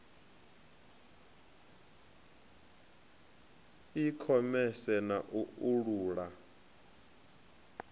i khomese na u uula